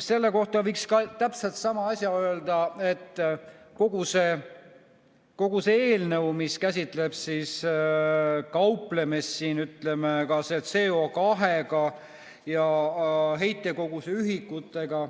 Selle kohta võiks täpselt sama asja öelda, et kogu see eelnõu, mis käsitleb kauplemist ka CO2 ja heitkoguse ühikutega,